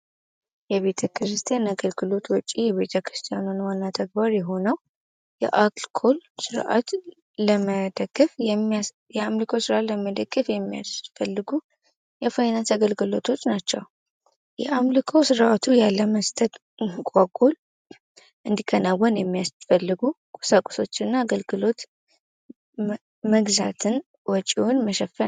የቤተ ክርስቲያን አገልግሎት ውጪ የቤተክርስቲያኑን ዋና ተግባር የሆነው ስርዓትን ለመደገፍ የሚያምልኮ ስራ ለመደገፍ የሚያስፈልጉ የፋይናንስ አገልግሎቶች ናቸው የአምልኮ ስርአቱ ያለ መስጠት እንዲከናወን የሚያስፈልጉ ቁሳቁሶችና አገልግሎትን መሸፈን